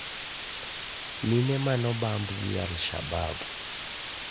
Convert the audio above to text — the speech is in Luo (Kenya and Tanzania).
Mine mane obamb gi al-shabab